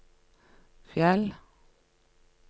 Fjell